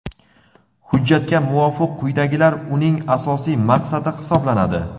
Hujjatga muvofiq quyidagilar uning asosiy maqsadi hisoblanadi:.